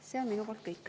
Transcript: See on minu poolt kõik.